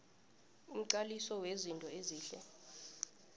nomqaliso wezinto ezihle